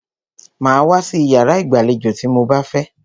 Màá wá sí iyàrá ìgbàlejò tí mo bá fẹ́!